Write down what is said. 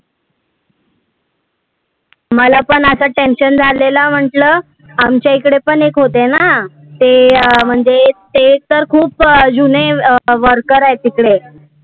मला पण आता tension झालेलं म्हंटलं, आमच्या इकडे पण एक होते ना, ते अं म्हणजे ते तर खूप अं जुने worker आहे तिकडे